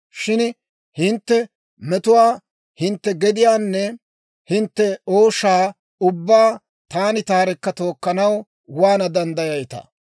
Shin hintte metuwaa, hintte palumaanne hintte ooshaa ubbaa taani taarekka tookkanaw waana danddayayitaa?